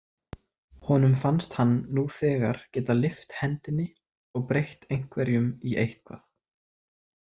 Honum fannst hann nú þegar geta lyft hendinni og breytt einhverjum í eitthvað.